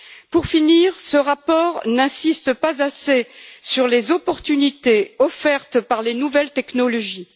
Pour finir, ce rapport n'insiste pas assez sur les opportunités offertes par les nouvelles technologies.